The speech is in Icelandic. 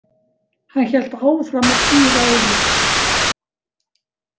Hann hélt áfram að píra augun.